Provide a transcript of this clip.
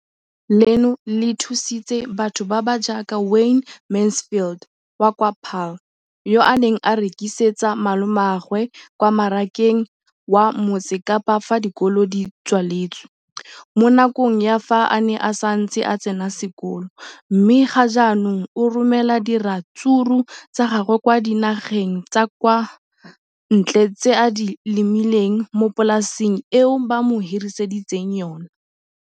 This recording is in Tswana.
leno le thusitse batho ba ba jaaka Wayne Mansfield, 33, wa kwa Paarl, yo a neng a rekisetsa malomagwe kwa Marakeng wa Motsekapa fa dikolo di tswaletse, mo nakong ya fa a ne a santse a tsena sekolo, mme ga jaanong o romela diratsuru tsa gagwe kwa dinageng tsa kwa ntle tseo a di lemileng mo polaseng eo ba mo hiriseditseng yona.